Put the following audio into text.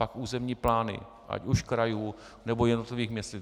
Pak územní plány ať už krajů, nebo jednotlivých měst.